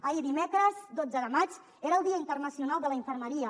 ahir dimecres dotze de maig era el dia internacional de la infermeria